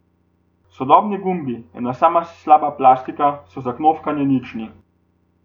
Sodobni gumbi, ena sama slaba plastika, so za knofkanje nični.